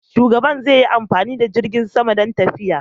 Shugaban zai yi amfani da jirgin sama don tafiya.